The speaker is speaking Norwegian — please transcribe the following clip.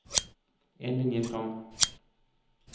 En linje fram